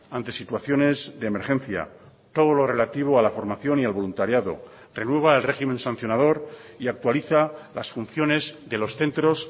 ante situaciones de emergencia todo lo relativo a la formación y al voluntariado renueva el régimen sancionador y actualiza las funciones de los centros